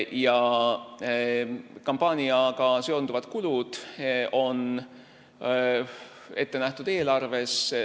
Ja kampaaniakulud on eelarves ette nähtud.